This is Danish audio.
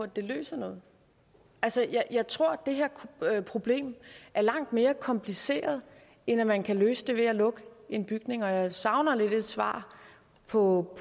det løser noget altså jeg tror det her problem er langt mere kompliceret end at man kan løse det ved at lukke en bygning og jeg savner lidt et svar på